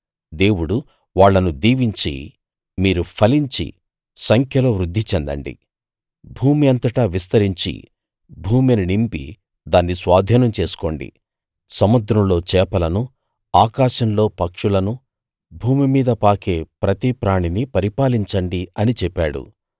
దేవుడు వాళ్ళను దీవించి మీరు ఫలించి సంఖ్యలో వృద్ధి చెందండి భూమి అంతటా విస్తరించి భూమిని నింపి దాన్ని స్వాధీనం చేసుకోండి సముద్రంలో చేపలనూ ఆకాశంలో పక్షులనూ మీదా భూమి మీద పాకే ప్రతి ప్రాణినీ పరిపాలించండి అని చెప్పాడు